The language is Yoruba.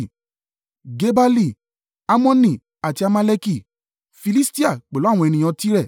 Gebali, Ammoni àti Amaleki, Filistia, pẹ̀lú àwọn ènìyàn Tire.